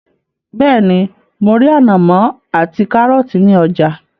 Bẹ́ẹ́ni, mo rí ànàmọ́ ati kárọ́tì ní ọjà.